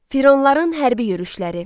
Fironların hərbi yürüşləri.